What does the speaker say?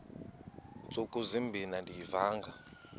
ntsuku zimbin andiyivanga